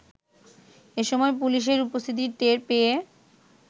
এসময় পুলিশের উপস্থিতি টের পেয়ে